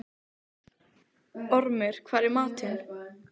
Ormur, hvað er í matinn?